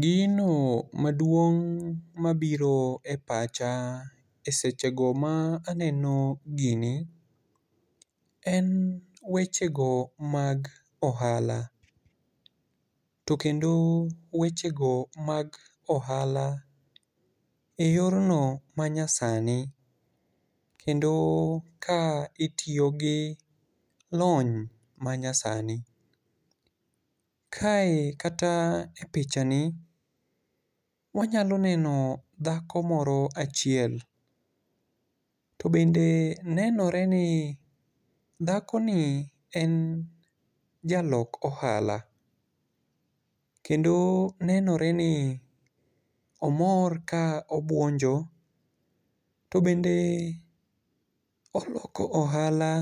Gino maduong' mabiro e pacha e sechego ma aneno gini en wechego mag ohala. To kendo wechego mag ohala e yorno manyasani, kendo ka itiyo gi lony manyasani. Kae kata e picha ni, wanyalo neno dhako moro achiel. To bende nenore ni dhakoni en jalok ohala. Kendo nenore ni omor ka obwonjo. To bende oloko ohala